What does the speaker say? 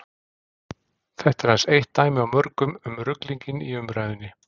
Þetta er aðeins eitt dæmi af mörgum um ruglinginn í umræðunni.